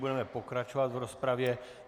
Budeme pokračovat v rozpravě.